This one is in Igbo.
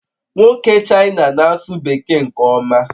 Nwoke China na-asụ Bekee nke ọma